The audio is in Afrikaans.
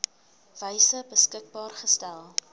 wyse beskikbaar gestel